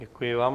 Děkuji vám.